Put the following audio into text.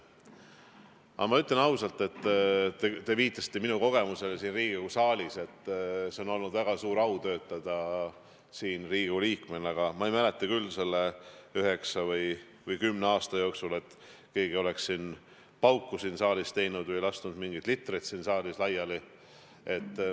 Samas ma ütlen ausalt – te viitasite minu kogemusele siin Riigikogu saalis –, et mul on olnud väga suur au töötada Riigikogu liikmena, aga ma ei mäleta selle üheksa või kümne aasta jooksul, et keegi oleks siin saalis pauku teinud või lasknud mingeid litreid laiali.